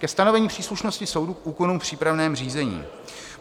Ke stanovení příslušnosti soudu k úkonům v přípravném řízení.